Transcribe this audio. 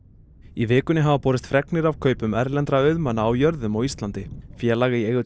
í vikunni hafa borist fregnir af kaupum erlendra auðmanna á jörðum á Íslandi félag í eigu